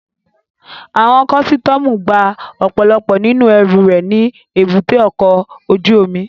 Àwọn kọ́sítọ́mù gba ọ̀pọ̀lọpọ̀ nínú ẹrù rẹ̀ ní èbúté ọkọ̀ ojú omi